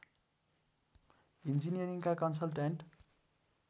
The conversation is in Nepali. इन्जिनियरिङका कन्सल्ट्यान्ट